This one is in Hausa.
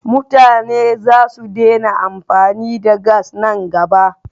Mutane za su daina amfani da gas nan gaba.